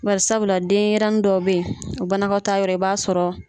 Bari sabula, denyɛrɛni dɔ bɛ yen, o banakɔtaayɔrɔ i b'a sɔrɔ.